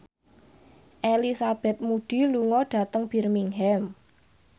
Elizabeth Moody lunga dhateng Birmingham